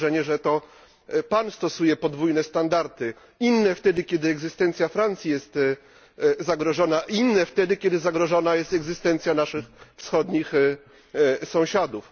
Mam wrażenie, że to pan stosuje podwójne standardy inne wtedy, kiedy egzystencja Francji jest zagrożona, a inne wtedy, kiedy zagrożona jest egzystencja naszych wschodnich sąsiadów.